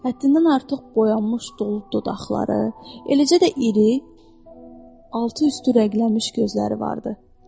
Həddindən artıq boyanmış dolu dodaqları, eləcə də enli, altı üstü rənglənmiş gözləri vardı.